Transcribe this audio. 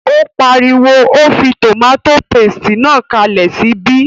Ó pariwo, o fí tòmátò paste náà kalẹ̀ sí ibí!